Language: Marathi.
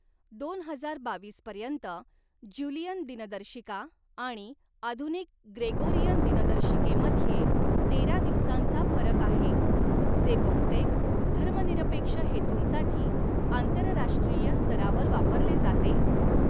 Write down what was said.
दोन हजार बावीस पर्यंत, ज्युलियन दिनदर्शिका आणि आधुनिक ग्रेगोरियन दिनदर्शिकेमध्ये तेरा दिवसांचा फरक आहे, जे बहुतेक धर्मनिरपेक्ष हेतूंसाठी आंतरराष्ट्रीय स्तरावर वापरले जाते.